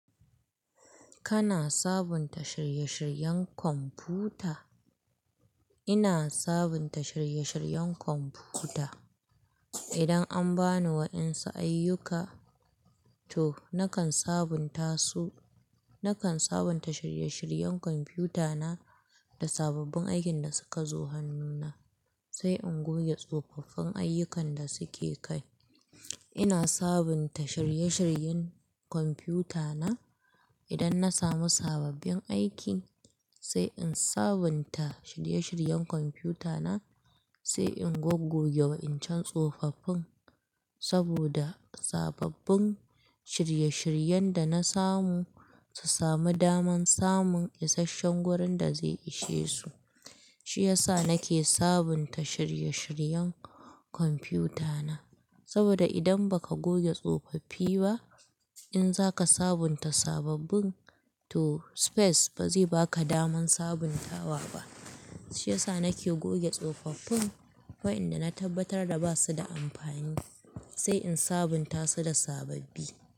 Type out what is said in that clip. Kana sabunta shirye-shiryen kwamfuta? Ina sabunta shirye-shiryen kwamfuta. Idan an bani wa'insu ayyuka, to nakan sabunta su. Nakan sabunta shirye-shiryen kwamfutana da sababbin aikin da suka zo hannuna, sai in goge tsofaffin ayyukan da suke kai. Ina sabunta shirye-shiryen kwamfutana idan na samu sababbin aiki, sai in sabunta shirye-shiryen kwamfutana, sai in goggoge wa'incan tsofaffin. Saboda sababbin shirye-shiryen da na samu su sami daman samun isashen wurin da zai ishe su. Shi ya sa nake sabunta shirye-shiryen kwamfutana. Saboda idan ba ka goge tsofaffi ba, in za ka sabunta sababbin, to space ba zai ba ka daman sabuntawa ba. Shi ya sa nake goge tsofaffin wayanda na tabbatar da ba su da amfani, sai in sabunta su da sababbi.